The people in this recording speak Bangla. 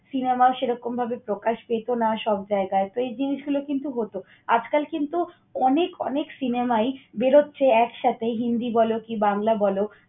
cinema সেরকমভাবে প্রকাশ পেতো না সব জায়গায়। তো, এই জিনিসগুলা কিন্তু হত। আজকাল কিন্তু অনেক অনেক cinema ই বের হচ্ছে একসাথে হিন্দি বল কি বাংলা বল।